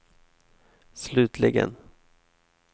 slutligen